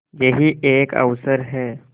यही एक अवसर है